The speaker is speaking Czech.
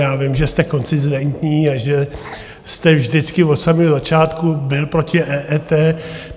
Já vím, že jste konzistentní a že jste vždycky od samého začátku byl proti EET.